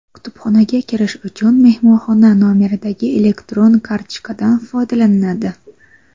Kutubxonaga kirish uchun mehmonxona nomeridagi elektron kartochkadan foydalaniladi.